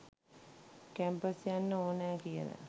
Campus යන්ඩ ඕනෑ කියලා.